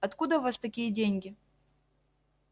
откуда у вас такие деньги